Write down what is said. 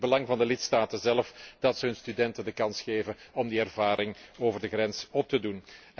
Het is in het belang van de lidstaten zelf dat ze hun studenten de kans geven om die ervaring over de grens op te doen.